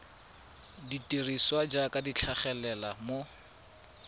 dirisiwa jaaka di tlhagelela mo